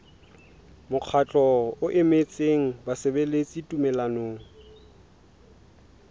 mokgatlo o emetseng basebeletsi tumellanong